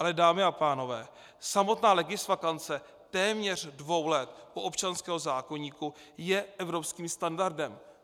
Ale dámy a pánové, samotná legisvakance téměř dvou let u občanského zákoníku je evropským standardem.